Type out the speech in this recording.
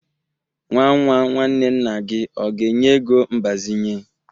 Nwa nwa nwanne nna gi ọ ga-enye ego mbazinye?